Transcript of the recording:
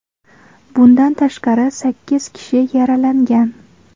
Bundan tashqari, sakkiz kishi yaralangan.